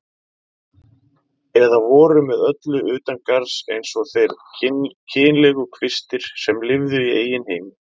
Eða voru með öllu utangarðs eins og þeir kynlegu kvistir sem lifðu í eigin heimi.